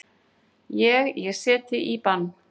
Ég. ég set þig í bann!